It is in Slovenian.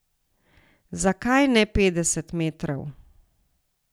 Zakaj ne petdeset metrov?